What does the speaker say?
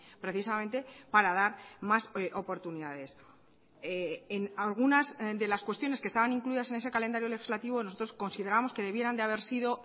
precisamente para dar más oportunidades en algunas de las cuestiones que estaban incluidas en ese calendario legislativo nosotros consideramos que debieran de haber sido